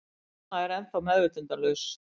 Mamma er ennþá meðvitundarlaus.